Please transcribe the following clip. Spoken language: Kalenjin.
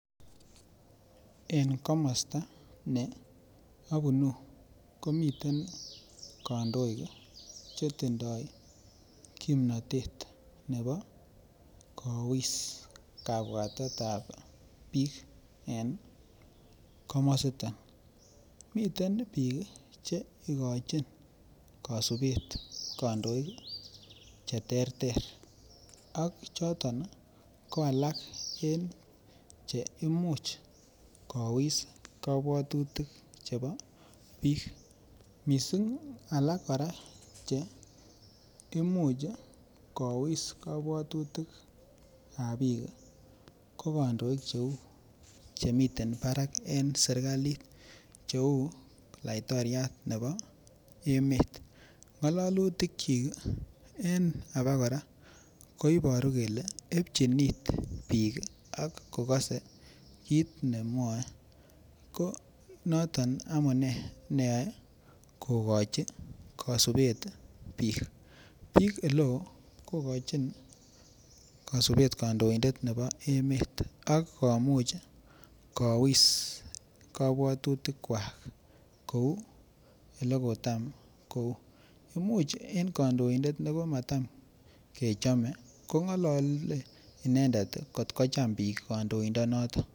en komosta neobunuu komiten kandoik iih chetindoo kimnoteet nebo kowiis kabwatet ab biik en komositon, miten biik iih cheigochin kosubeet kondoik iih cheterter ak choton iih ko alak cheimuch kowiis kobwotutik chebo biik, mising iih alak kora cheimuch kowiis kobwotutik ab biik iih, ko kondoik chemiten baraak en serkaliit kouu laitoriat nebo emet, ngololutik kyiik iih koiboru kele ebchiin iit biik ak kogose kiit nemwooe, ko noton neyoe kogochui kosubeet biik, biik eleoo kogochin kosubeet kandoindet nebo emet ak komuch kowiss kobwotutik kwaak kouu negomoton, imuch en kondoindet negomotom kechome kongolole kotkocham biik kondoindet noton